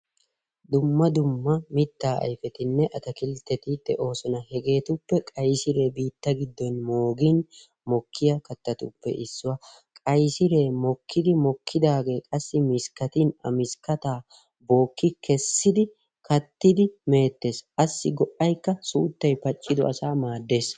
Dumma dumma mittaa ayifetinne atakiltteti de'oosona. Hegeetuppe qayisiree biitta giddon moogin mokkiya kattatuppe issuwa. Qayisiree mokkidi mokkidaagee qassi miskkatin a miskkataa bookki kessidi kattidi meettes. Assi go'ayikka suuttay paccido asaa maaddes.